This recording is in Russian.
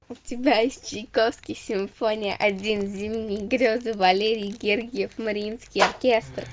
у тебя есть чайковский симфония один зимние грезы валерий гергиев мариинский оркестр